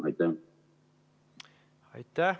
Aitäh!